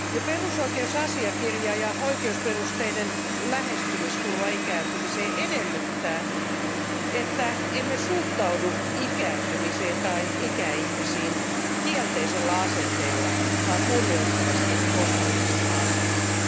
Perusoikeusasiakirja ja oikeusperusteinen lähestymistapa ikääntymiseen edellyttävät, ettemme suhtaudu ikääntymiseen tai ikäihmisiin kielteisellä asenteella, vaan kunnioittavasti positiivisella asenteella.